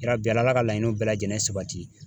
Yabi ALA ka laɲiniw bɛɛ lajɛlen sabati.